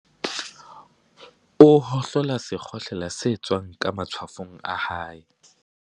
O hohlola sekgohlela se tswang ka matshwafong a hae.